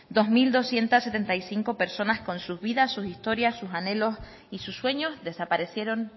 dos mil doscientos setenta y cinco personas con sus vidas sus historias sus anhelos y sus sueños desaparecieron